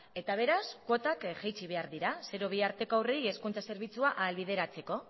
eta beraz kuotak jaitsi behar dira zero bi arteko haurrei hezkuntza zerbitzua ahalbideratzeko